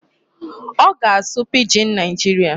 Ọ ga-asụ Pidgin Nigeria.